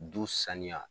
Du sanuya